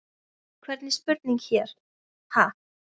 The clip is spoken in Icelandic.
Hvernig spurning hér, ha?